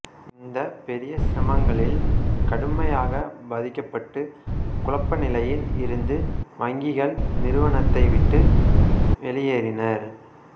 இந்த பெரிய சிரமங்களில் கடுமையாக பாதிக்கப்பட்டு குழப்ப நிலையில் இருந்து வங்கிகள் நிறுவனத்தை விட்டு வெளியேறினர்